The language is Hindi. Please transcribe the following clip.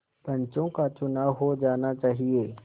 पंचों का चुनाव हो जाना चाहिए